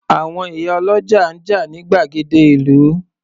Àwọn ìyá ọlọ́jà ń jà ní gbàgede ìlú.